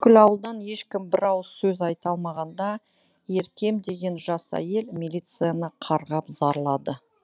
бүкіл ауылдан ешкім бір ауыз сөз айта алмағанда еркем деген жас әйел милицияны қарғап зарлады